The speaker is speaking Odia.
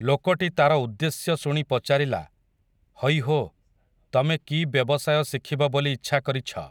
ଲୋକଟି ତାର ଉଦ୍ଦେଶ୍ୟ ଶୁଣି ପଚାରିଲା, ହଇ ହୋ, ତମେ କି ବ୍ୟବସାୟ ଶିଖିବ ବୋଲି ଇଚ୍ଛା କରିଛ ।